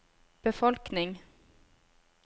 befolkning